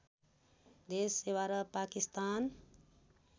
देश सेवा र पाकिस्तान